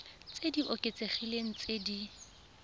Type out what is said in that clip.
tse di oketsegileng tse di